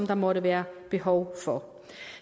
der måtte være behov for